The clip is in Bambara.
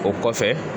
O kɔfɛ